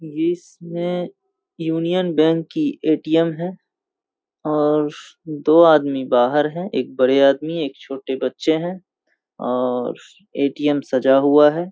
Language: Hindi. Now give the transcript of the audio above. ये इसमे यूनियन बैंक की ए.टी.एम. है और दो आदमी बाहर हैं एक बड़े आदमी एक छोटे बच्चे हैं और ए.टी.एम. सजा हुआ है।